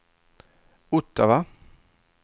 Ottawa